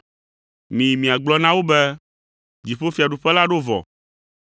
Miyi miagblɔ na wo be dziƒofiaɖuƒe la ɖo vɔ.